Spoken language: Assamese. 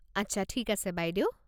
আচ্ছা, ঠিক আছে বাইদেউ।